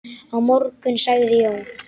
Á morgun sagði Jón.